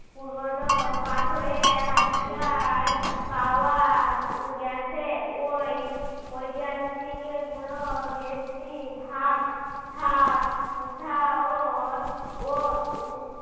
পুরোনো পাথরের হাতিয়ার পাওয়া গেছে। ওই ঐতিহাসিক এগুলো বেশি ভাগ হাতকুঠা ও ও উহ